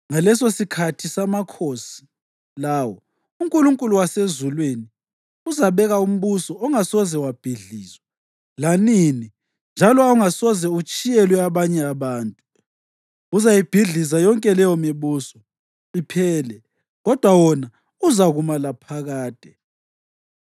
“Ngalesosikhathi samakhosi lawo uNkulunkulu wasezulwini uzabeka umbuso ongasoze wabhidlizwa lanini njalo ongasoze utshiyelwe abanye abantu. Uzayibhidliza yonke leyomibuso iphele, kodwa wona uzakuma laphakade.”